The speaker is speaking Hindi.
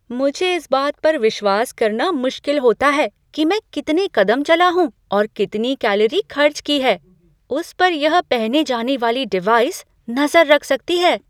मुझे इस बात पर विश्वास करना मुश्किल होता है मैं कितने कदम चला हूँ और कितनी कैलोरी खर्च की है उस पर यह पहने जाने वाली डिवाइस नजर रख सकती है।